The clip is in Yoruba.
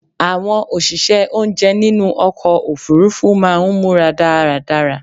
Àwọn òṣìṣẹ́ oúnjẹ nínú ọkọ̀ òfurufú máà ń múra dáradára